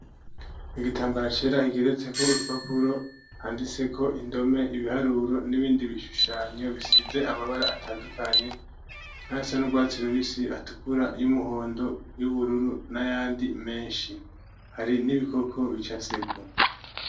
Igitambara cera kigeretse ko urupapuro handitse ko indome ibiharuro n'ibindi bishushanyo bisize amabara atandukanye nk'ayasa n'urwatsi rubisi atukura y'umuhondo y'ubururu n'ayandi menshi. Hari n'ibikoko bicafyeko.